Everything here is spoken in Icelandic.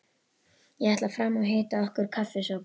Ég ætla fram og hita okkur kaffisopa.